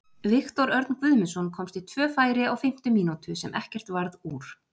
Viktor Örn Guðmundsson komst í tvö færi á fimmtu mínútu sem ekkert varð úr.